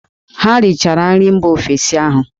Ha richara nri mba ọzọ ahụ!